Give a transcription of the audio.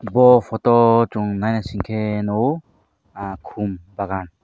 bo photo o song nai naisike nogo ah kom bagan.